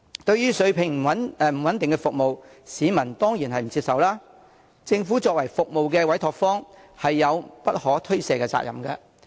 對於水平不穩定的服務，市民當然不接受，政府作為服務的委託方有不可推卸的責任。